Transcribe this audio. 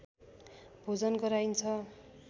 भोजन गराइन्छ